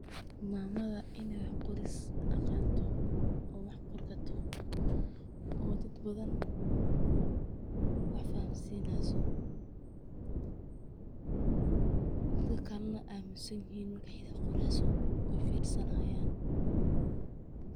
Mamada iney wax qoris aqanto oo wax ey qori karto oo dad badan ey wax fahansineysoc, dadka kalena ey amusanyihin markey wax qoreyso oo dageysanayan.